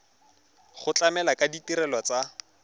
go tlamela ka ditirelo tsa